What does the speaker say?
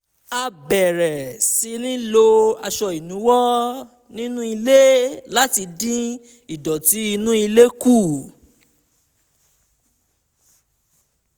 a bẹ̀rẹ̀ sí í lo aṣọ ìnuwọ́ ní nú ilé láti dín ìdọ̀tí inú ilé kù